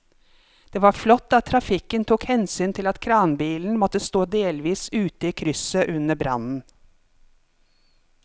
Det var flott at trafikken tok hensyn til at kranbilen måtte stå delvis ute i krysset under brannen.